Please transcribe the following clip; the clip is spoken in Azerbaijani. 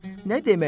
Nə demək?